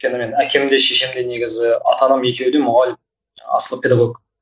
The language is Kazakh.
өйткені әкем де шешем де негізі ата анам екеуі де мұғалім асылы педагог